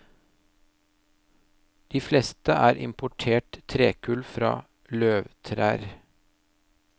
De fleste er importert trekull fra løvtrær.